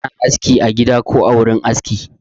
Ana aski a gida ko a wurin aski